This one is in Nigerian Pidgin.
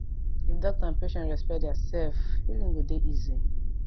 if doctor and patient respect dia sef healing go dey easi